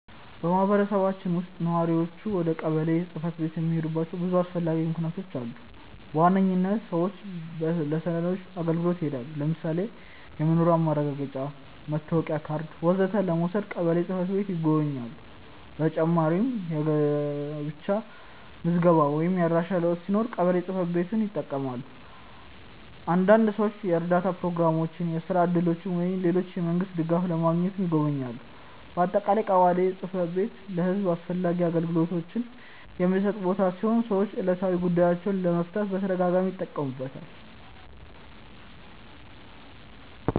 በማህበረሰባችን ውስጥ ነዋሪዎች ወደ ቀበሌ ጽ/ቤት የሚሄዱባቸው ብዙ አስፈላጊ ምክንያቶች አሉ። በዋነኝነት ሰዎች ለሰነዶች አገልግሎት ይሄዳሉ። ለምሳሌ የመኖሪያ ማረጋገጫ፣ መታወቂያ ካርድ ወዘተ ለመውሰድ ቀበሌ ጽ/ቤት ይጎበኛሉ። በተጨማሪም የጋብቻ ምዝገባ ወይም የአድራሻ ለውጥ ሲኖር ቀበሌ ጽ/ቤትን ይጠቀማሉ። አንዳንድ ሰዎች የእርዳታ ፕሮግራሞች፣ የስራ እድሎች ወይም ሌሎች የመንግስት ድጋፎች ለማግኘትም ይጎበኛሉ። በአጠቃላይ ቀበሌ ጽ/ቤት ለህዝብ አስፈላጊ አገልግሎቶችን የሚሰጥ ቦታ ሲሆን ሰዎች ዕለታዊ ጉዳዮቻቸውን ለመፍታት በተደጋጋሚ ይጠቀሙበታል።